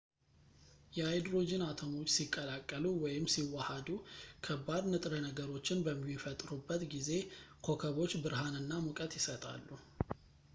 የሃይድሮጂን አቶሞች ሲቀላቀሉ ወይም ሲዋሃዱ ከባድ ንጥረ ነገሮችን በሚፈጥሩበት ጊዜ ኮከቦች ብርሃንና ሙቀት ይሰጣሉ